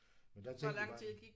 Men der tænkte vi bare